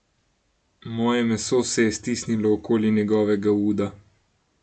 Moje meso se je stisnilo okoli njegovega uda.